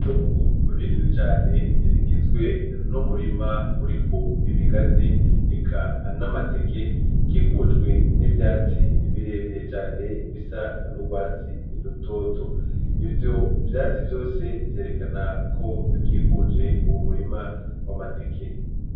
Itongo rinini cane rigizwe n'umurima uriko ibigazi eka n'amateke ukikujwe n'ivyatsi birebire cane bisa n'urwatsi rutoto ivyo vyatsi vyose vyerekana ko bikikuje uwo murima w'amateke.